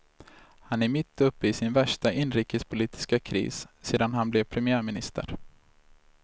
Han är mitt uppe i sin värsta inrikespolitiska kris sedan han blev premiärminister.